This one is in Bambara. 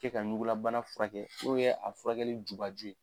K'e ka ɲugulabana furakɛ u bi yɛ a furakɛli juba ju ye